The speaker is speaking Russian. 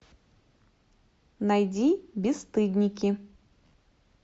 найди бесстыдники